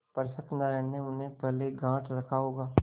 पर सत्यनारायण ने उन्हें पहले गॉँठ रखा होगा